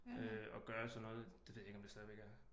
At gøre sådan noget det ved jeg ikke om det stadigvæk er